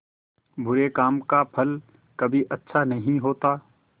बुरे काम का फल कभी अच्छा नहीं होता